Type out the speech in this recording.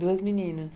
Duas meninas.